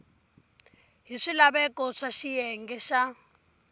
hi swilaveko swa xiyenge xa